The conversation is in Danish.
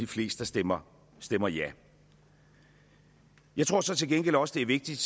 flest der stemmer stemmer ja jeg tror så til gengæld også det er vigtigt